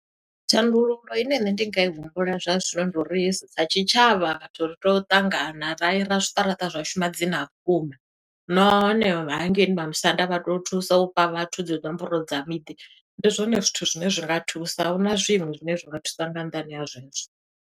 Thandululo ine nṋe ndi nga i humbula zwa zwino, ndi uri sa tshitshavha vhathu ri tea u ṱangana, ra ira zwiṱaraṱa zwashu madzina a vhukuma. Nahone hangeini vha musanda vha to thusa u vha vhathu dzi nomboro dza miḓi. Ndi zwone zwithu zwine zwinga thusa, a huna zwiṅwe zwine zwinga thusa nga nnḓani ha zwezwo.